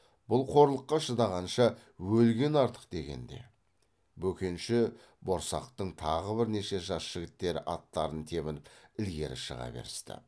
бұл қорлыққа шыдағанша өлген артық дегенде бөкенші борсақтың тағы бірнеше жас жігіттері аттарын тебініп ілгері шыға берісті